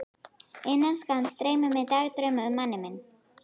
Innan skamms dreymir mig dagdrauma um manninn minn.